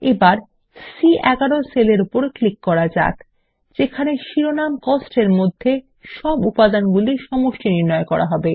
এখন সি11 সেল এর উপর ক্লিক করা যাক যেখানে শিরোনাম কস্ট এর মধ্যে মোট উপাদানগুলি সমষ্টি নির্ণয় করা হবে